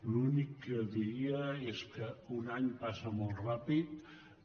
l’únic que diria és que un any passa molt ràpidament